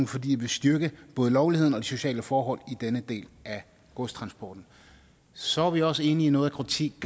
fordi det vil styrke både lovligheden og de sociale forhold i denne del af godstransporten så er vi også enige i noget af kritikken